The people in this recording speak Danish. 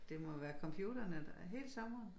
Det må være computerne der hele sommeren